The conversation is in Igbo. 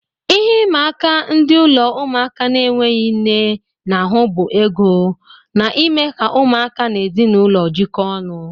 Ihe ịma aka ndị ụlọ ụmụaka na-enweghị nne na-ahu bụ ego, na ime ka ụmụaka na ezinaụlọ jikọọ ọnụ.